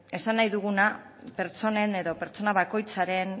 esan nahi duguna pertsonen edo pertsona bakoitzaren